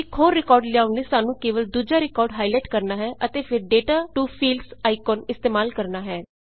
ਇੱਕ ਹੋਰ ਰਿਕਾਰਡ ਲਿਆਉਣ ਲਈ ਸਾਨੂੰ ਕੇਵਲਾ ਦੂਜਾ ਰਿਕਾਰਡ ਹਾਈਲਾਈਟ ਕਰਣਾ ਹੈ ਅਤੇ ਫੇਰ ਡੇਟਾ ਟੂ ਫੀਲਡਜ਼ ਆਈਕਨ ਇਸਤੇਮਾਲ ਕਰਣਾ ਹੈ